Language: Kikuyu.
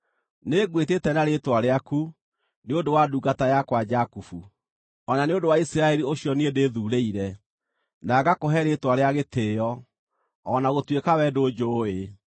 Nĩngwĩtĩte na rĩĩtwa rĩaku, nĩ ũndũ wa ndungata yakwa Jakubu, o na nĩ ũndũ wa Isiraeli ũcio niĩ ndĩthuurĩire, na ngakũhe rĩĩtwa rĩa gĩtĩĩo, o na gũtuĩka wee ndũnjũũĩ.